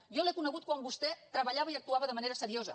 jo l’he conegut quan vostè treballava i actuava de manera seriosa